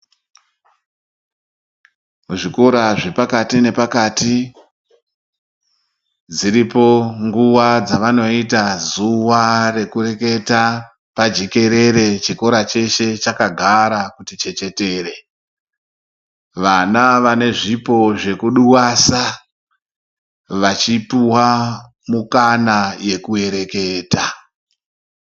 Zvikora zvepakati nepakati dziripo nguwa dzavanoita zuwa rekureketa pajekere chikora cheshe chakagara kuti chechetere vana vane zvipo zvekudwasa vachipuwa mikana yekuereketa.